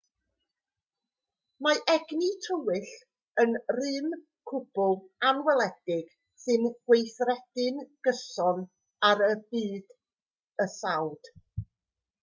mae egni tywyll yn rym cwbl anweledig sy'n gweithredu'n gyson ar y bydysawd